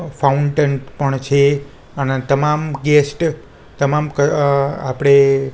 fountain પણ છે અને તમામ ગેસ્ટ તમામ ક આપડે--